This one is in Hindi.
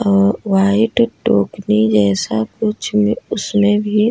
ओ व्हाइट टोकरी जैसा कुछ उसमें भी --